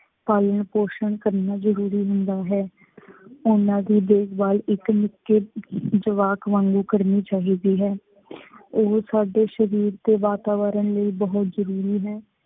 ਪਾਲਣ ਪੋਸ਼ਣ ਕਰਨਾ ਜਰੂਰੀ ਹੁੰਦਾ ਹੈ। ਉਹਨਾ ਦੀ ਦੇਖ ਭਾਲ ਇੱਕ ਨਿੱਕੇ ਜਵਾਕ ਵਾਂਗੂ ਕਰਨੀ ਚਾਹੀਦੀ ਹੈ। ਉਹ ਸਾਡੇ ਸ਼ਰੀਰ ਅਤੇ ਵਾਤਾਵਰਨ ਲਈ ਬਹੁਤ ਜਰੂਰੀ ਹੈ।